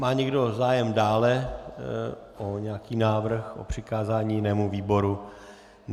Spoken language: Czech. Má někdo zájem dále o nějaký návrh, o přikázání jinému výboru?